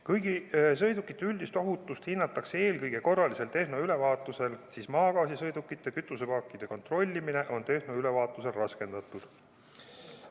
Kuigi sõidukite üldist ohutust hinnatakse eelkõige korralisel tehnoülevaatusel, siis maagaasisõidukite kütusepaakide kontrollimine on tehnoülevaatusel raskendatud.